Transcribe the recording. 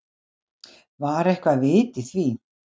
Var eitthvert vit í því?